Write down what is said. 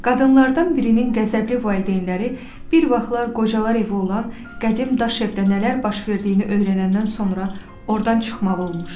Qadınlardan birinin qəzəbli valideynləri bir vaxtlar qocalar evi olan qədim daş evdə nələr baş verdiyini öyrənəndən sonra ordan çıxmalı olmuşdu.